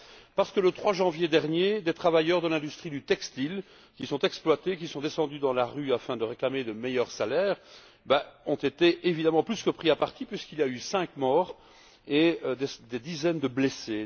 Parce que le 3 janvier dernier, des travailleurs de l'industrie du textile qui sont exploités et qui sont descendus dans la rue afin de réclamer de meilleurs salaires ont été plus que pris à partie, puisqu'il y a eu cinq morts et des dizaines de blessés.